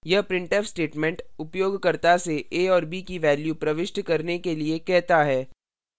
यह printf statement उपयोगकर्ता से a और b की values प्रविष्ट करने के लिए कहता है